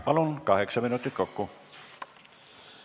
Palun, kaheksa minutit kokku!